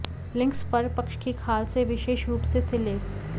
links फर पक्ष की खाल से विशेष रूप से सिले